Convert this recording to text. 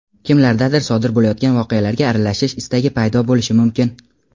Kimlardadir sodir bo‘layotgan voqealarga aralashish istagi paydo bo‘lishi mumkin.